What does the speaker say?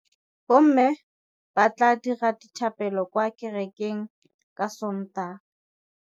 Bommê ba tla dira dithapêlô kwa kerekeng ka Sontaga.